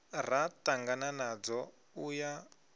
ra ṱangana nadzo u ya